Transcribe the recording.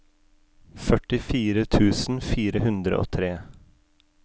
førtifire tusen fire hundre og tre